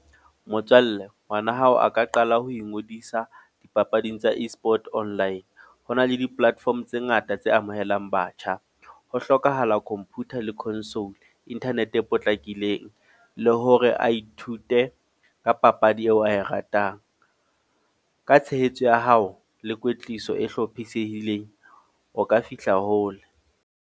Motswalle, ngwana hao a ka qala ho ingodisa dipapading tsa e-Sport online. Ho na le di-platform tse ngata tse amohelang batjha. Ho hlokahala computer le consol, internet e potlakileng. Le hore a ithute ka papadi eo ae ratang. Ka tshehetso ya hao le kwetliso e hlophisehileng. O ka fihla hole.